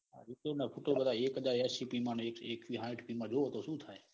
ખૂટે ખૂટે બધા એક હાજર એસી પી માં અને એકવી હાઈઠ પી માં જોવે તો સુ થાય.